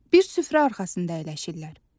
Bir süfrə arxasında əyləşirlər.